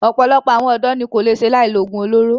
Ọ̀pọ̀lọpọ̀ àwọn ọ̀dọ́ ní kò lè ṣe láì lo oògùn olóró.